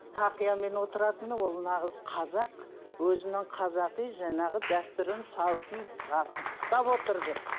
тақиямен отыратыны ол нағыз қазақ өзінің қазақи жаңағы дәстүрін салтын ұстап отыр деп